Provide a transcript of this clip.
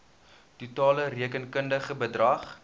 totale rekenkundige bedrag